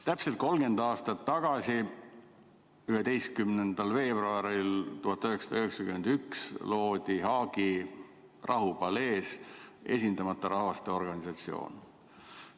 Täpselt 30 aastat tagasi, 11. veebruaril 1991 loodi Haagi Rahupalees Esindamata Rahvaste Organisatsioon.